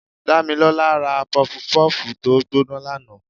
Damilola rá pufú pufú tọ gboná laná